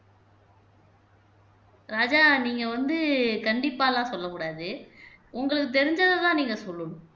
ராஜா நீங்க வந்து கண்டிப்பா எல்லாம் சொல்லக் கூடாது உங்களுக்குத் தெரிஞ்சதைதான் நீங்க சொல்லணும்